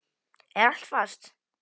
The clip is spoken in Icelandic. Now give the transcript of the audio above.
Er allt fast?